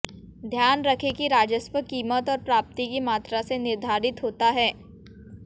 ध्यान रखें कि राजस्व कीमत और प्राप्ति की मात्रा से निर्धारित होता है